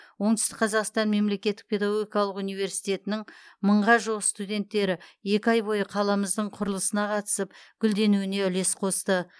оңтүстік қазақстан мемлекеттік педагогикалық университетінің мыңға жуық студенттері екі ай бойы қаламыздың құрылысына қатысып гүлденуіне үлес қосты